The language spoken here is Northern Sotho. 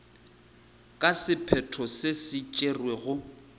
ka sephetho se se tšerwego